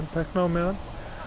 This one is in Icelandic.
tekna á meðan